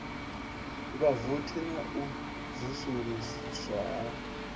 vhavothi na u vusuluswa ha